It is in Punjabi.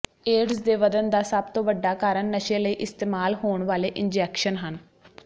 ਏਡਜ਼ ਦੇ ਵਧਣ ਦਾ ਸਭ ਤੋਂ ਵੱਡਾ ਕਾਰਨ ਨਸ਼ੇ ਲਈ ਇਸਤੇਮਾਲ ਹੋਣ ਵਾਲੇ ਇੰਜੈਕਸ਼ਨ ਹਨ